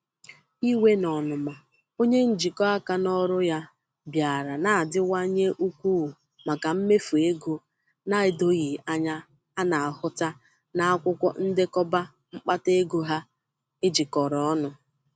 Iwe na ọnụma onye njikọ aka n'ọrụ ya bịara na-adiwanye ukwuu maka mmefu ego na-edoghị anya na-ahụta n'akwụkwọ ndekọba mkpata ego ha ejikọrọ ọnụ.